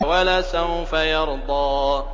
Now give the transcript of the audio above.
وَلَسَوْفَ يَرْضَىٰ